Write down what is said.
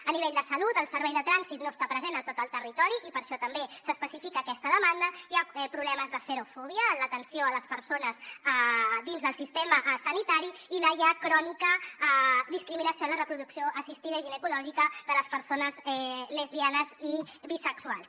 a nivell de salut el servei trànsit no està present a tot el territori i per això també s’especifica aquesta demanda hi ha problemes de serofòbia a l’atenció a les persones dins del sistema sanitari i la ja crònica discriminació a la reproducció assistida i ginecològica de les persones lesbianes i bisexuals